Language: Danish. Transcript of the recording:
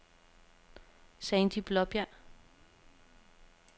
Sandie Blaabjerg